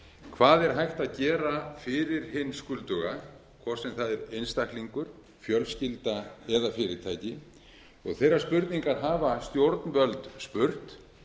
hvað er hægt að gera fyrir hinn skulduga hvort sem það er einstaklingur fjölskylda eða fyrirtæki þeirrar spurningar hafa stjórnvöld spurt